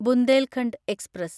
Bundelkhand express